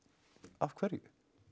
af hverju